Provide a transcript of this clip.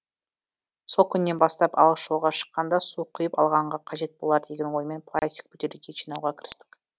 сол күннен бастап алыс жолға шыққанда су құйып алғанға қажет болар деген оймен пластик бөтелке жинауға кірістік